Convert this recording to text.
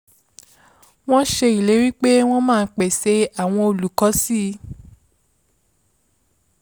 wọ́n ṣe ìlérí pé wọ́n máa pèsè àwọn olùkọ́ si